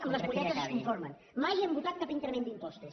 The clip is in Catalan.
amb les molletes es conformen mai hem votat cap increment d’impostos